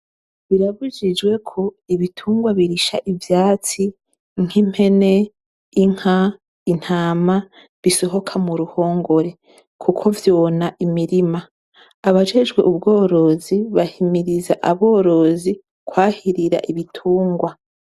Birabujijwe ko ibitungwa birisha ivyatsi nk'impene, inka, intama, bisohoka mu ruhongore kuko vyona imirima. Abajejwe ubworozi, bahimiriza aborozi kwahirira ibitungwa.